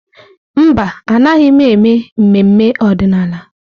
Mba, Anaghị m eme ememe ọdịnala.